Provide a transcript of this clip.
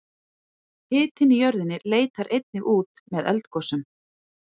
Hitinn í jörðinni leitar einnig út með eldgosum.